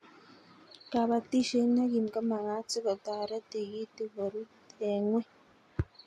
kabatishet ne kim ko magat sikotaret tig'itik ko rut eng' ng'weny